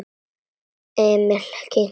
Emil kinkaði kolli.